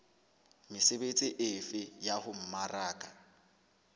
mesebetsi efe ya ho mmaraka